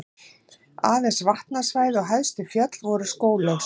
Aðeins vatnasvæði og hæstu fjöll voru skóglaus.